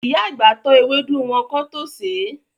Ìyá àgbà tọ́ ewédú wọn kán tó sèé.